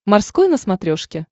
морской на смотрешке